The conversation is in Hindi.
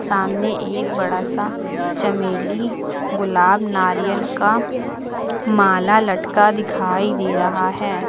सामने एक बड़ा सा चमेली गुलाब नारियल का माला लटका दिखाई दे रहा है।